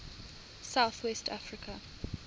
south west africa